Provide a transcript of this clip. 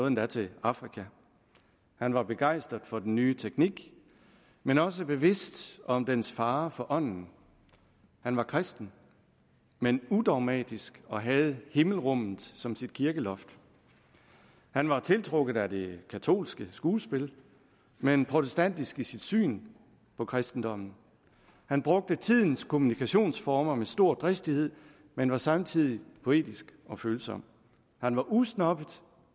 endda til afrika han var begejstret for den nye teknik men også bevidst om dens fare for ånden han var kristen men udogmatisk og havde himmelrummet som sit kirkeloft han var tiltrukket af det katolske skuespil men protestantisk i sit syn på kristendom han brugte tidens kommunikationsformer med stor dristighed men var samtidig poetisk og følsom han var usnobbet